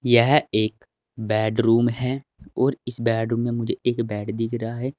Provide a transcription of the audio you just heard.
यह एक बेडरूम है और इस बेडरूम मुझे एक बेड दिख रहा है।